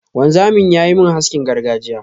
wanzamin yayi min haskin gargajiya.